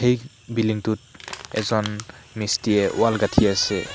এই বিল্ডিঙ টোত এজন মিষ্ট্ৰীয়ে ৱাল গাঁঠি আছে।